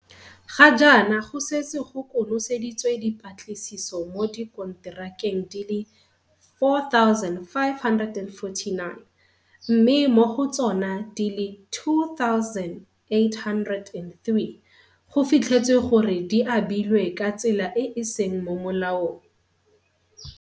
Ga jaana go setse go konoseditswe dipatlisiso mo dikonterakeng di le 4 549, mme mo go tsona di le 2 803 go fitlhetswe gore di abilwe ka tsela e e seng mo molaong.